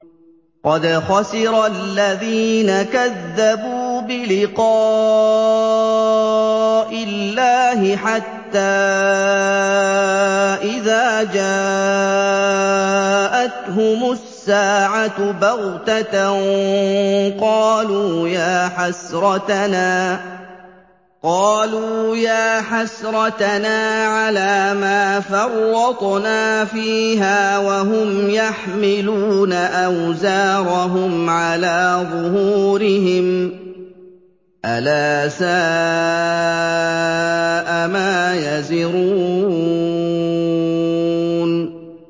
قَدْ خَسِرَ الَّذِينَ كَذَّبُوا بِلِقَاءِ اللَّهِ ۖ حَتَّىٰ إِذَا جَاءَتْهُمُ السَّاعَةُ بَغْتَةً قَالُوا يَا حَسْرَتَنَا عَلَىٰ مَا فَرَّطْنَا فِيهَا وَهُمْ يَحْمِلُونَ أَوْزَارَهُمْ عَلَىٰ ظُهُورِهِمْ ۚ أَلَا سَاءَ مَا يَزِرُونَ